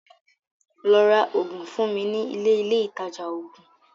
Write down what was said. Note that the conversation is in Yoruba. Lọ́ rá oògùn fún mi ní ilé Ilé ìtajà oògùn!